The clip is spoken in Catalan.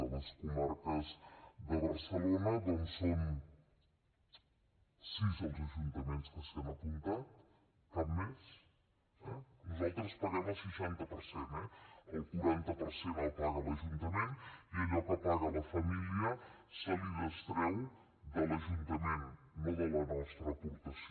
de les comarques de barcelona són sis els ajuntaments que s’hi han apuntat cap més eh nosaltres en paguem el seixanta per cent el quaranta per cent el paga l’ajuntament i allò que paga la família es treu de l’ajuntament no de la nostra aportació